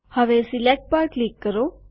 હવે સિલેક્ટ પર ક્લિક કરો